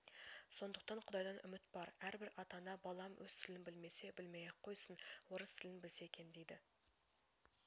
сондықтан құдайдан үміт бар әрбір ата-ана балам өз тілін білмесе білмей-ақ қойсын орыс тілін білсе екен дейді